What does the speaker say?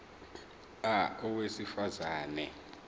a owesifaz ane